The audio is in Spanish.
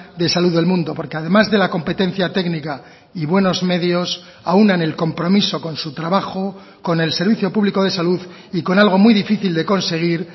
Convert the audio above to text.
de salud del mundo porque además de la competencia técnica y buenos medios aúnan el compromiso con su trabajo con el servicio público de salud y con algo muy difícil de conseguir